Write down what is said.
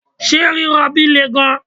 ṣe rirobi le gan